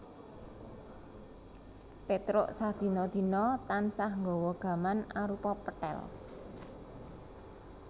Pétruk sadina dina tansah nggawa gaman arupa pethèl